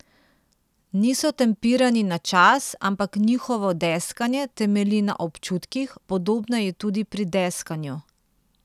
Niso tempirani na čas, ampak njihovo deskanje temelji na občutkih, podobno je tudi pri deskanju.